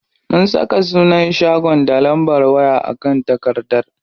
Mun saka sunan shagon da lambar waya a kan takardar.